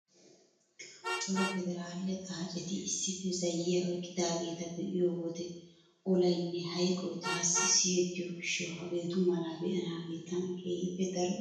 Cora pederaale xaaceti issippe zayyiya oyqqidaageeta be'iyo wode olaynne hayqoy taassi siyettiyo gishshawu hageetu malaa be'anaagee tana keehippe daro iitees.